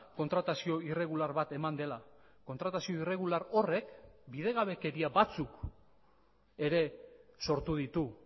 kontratazio irregular bat eman dela kontratazio irregular horrek bidegabekeria batzuk ere sortu ditu